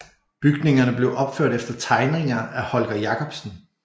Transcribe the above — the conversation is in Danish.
Bygningerne blev opført efter tegninger af Holger Jacobsen